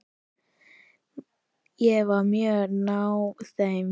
Ég var mjög náinn þeim.